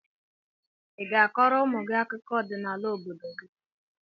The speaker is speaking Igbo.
I ga-akọrọ ụmụ gị akụkọ ọdịnala obodo gị?